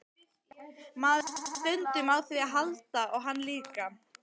Maður þarf stundum á því að halda og hann líka.